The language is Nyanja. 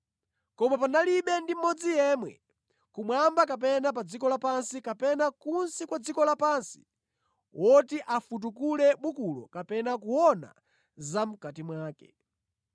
Koma panalibe ndi mmodzi yemwe kumwamba kapena pa dziko lapansi kapena kunsi kwa dziko lapansi woti afutukule bukulo kapena kuona zamʼkati mwake.